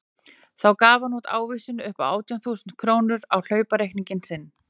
Þá gaf hann út ávísun upp á átján þúsund krónur á hlaupareikning sinn.